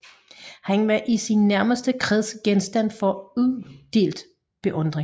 Han var i sin nærmeste kreds genstand for udelt beundring